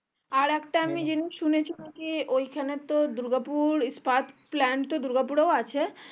আর একটা আমি জিনিস শুনেছি ঐখানে তো দুর্গাপুর তো দূর্গা পুড়েও আছে